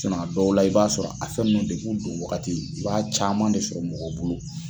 sinɔn a dɔw la i b'a sɔrɔ a fɛn nunnu depi u don wagati i b'a caman de sɔrɔ mɔgɔ bolo